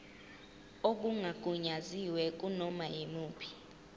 okungagunyaziwe kunoma yimuphi